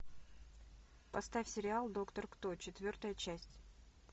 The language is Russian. поставь сериал доктор кто четвертая часть